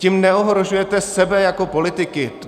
Tím neohrožujete sebe jako politiky.